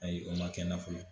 Ayi o ma kɛ n na fɔlɔ